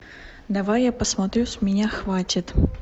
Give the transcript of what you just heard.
давай я посмотрю с меня хватит